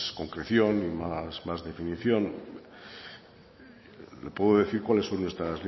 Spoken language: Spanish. concreción y más definición le puedo decir cuáles son nuestras